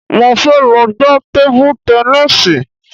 Mo fẹ́ lọ gba tébú tẹníìsì